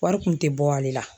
Wari kun tɛ bɔ ale la